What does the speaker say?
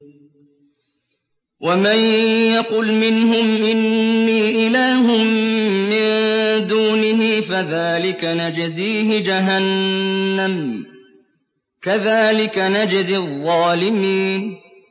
۞ وَمَن يَقُلْ مِنْهُمْ إِنِّي إِلَٰهٌ مِّن دُونِهِ فَذَٰلِكَ نَجْزِيهِ جَهَنَّمَ ۚ كَذَٰلِكَ نَجْزِي الظَّالِمِينَ